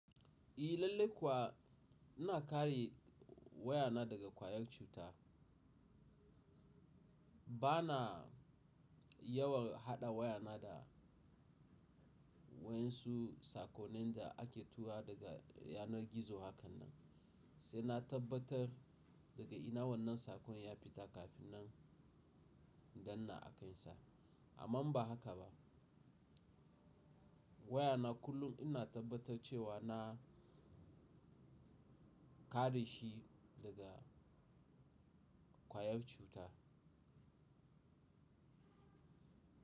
I lallai kuwa ina kare wayana daga kwayar cuta. Bana yawan haɗa wayana da wayansu sakonin da ake tura daga yanar gizo hakan nan, sai na tabbatar daga ina wannan saƙon ya fita kafin na danna akansa. Amma ba haka ba. Wayana kullum ina tabbatar cewa na kare shi daga kwayar cuta.